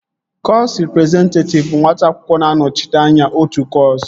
Kọsu rịprezentatịv bụ nwata akwụkwọ na-anọchite anya otu kọsu